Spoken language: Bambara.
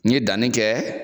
N ye danni kɛ